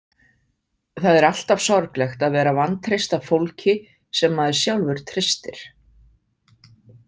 Það er alltaf sorglegt að vera vantreyst af fólki sem maður sjálfur treystir.